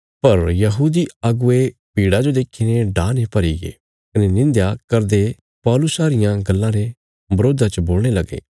पर यहूदी अगुवे भीड़ा जो देखीने डाह ने भरीगे कने निंध्या करदे पौलुसा रियां गल्लां रे बरोधा च बोलणे लगे